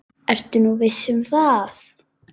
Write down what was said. Ertu nú viss um það?